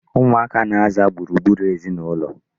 Ụmụaka na-aza gburugburu ezinụlọ.